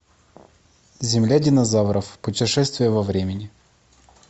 земля динозавров путешествие во времени